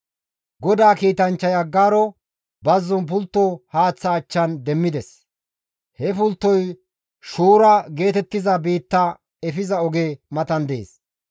GODAA kiitanchchay Aggaaro bazzon pultto haaththa achchan demmides; he pulttoy Shuura geetettiza biitta efiza oge matan dees.